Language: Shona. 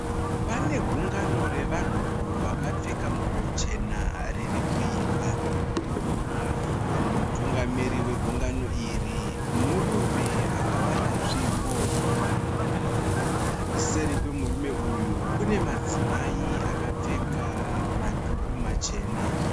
Pane gungano revanhu vakapfeka nguwo chena ririkuimba. Mutungamiri wegungano iri murume akabata tsvimbo, seri kwemurume uyu kune madzimai akapfeka madhuku machena.